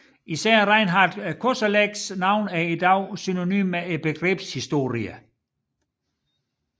Især Reinhart Kosellecks navn er i dag synonymt med begrebshistorien